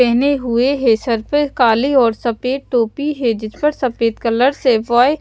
पहने हुए हैं सर पर काली और सफेद टोपी है जिस पर सफेद कलर से बॉय--